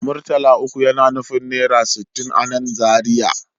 Murtala uku yana nufin naira sittin a nan Zariya